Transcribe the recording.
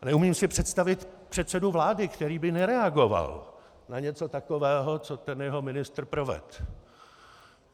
A neumím si představit předsedu vlády, který by nereagoval na něco takového, co ten jeho ministr provedl.